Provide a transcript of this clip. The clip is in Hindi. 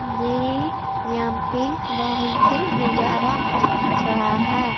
ये यहांपे बहुत नजरा अच्छा है।